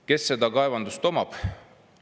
Kes neid kaevandusi omab?